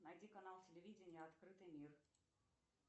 найди канал телевидения открытый мир